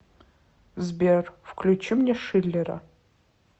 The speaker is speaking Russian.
сбер включи мне шиллера